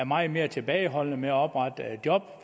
meget mere tilbageholdende med at oprette job